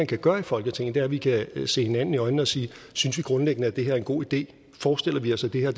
kan gøre i folketinget er at vi kan se hinanden i øjnene og sige at synes vi grundlæggende at det her er en god idé forestiller vi os at det her